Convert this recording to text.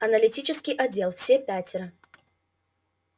аналитический отдел все пятеро